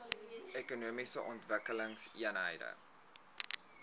ekonomiese ontwikkelingseenhede eoes